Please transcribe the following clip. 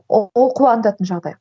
ол қуантатын жағдай